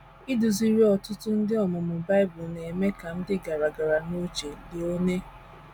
Iduziri ọtụtụ ndị ọmụmụ Bible na - eme ka m dị gara gara n’uche. Léone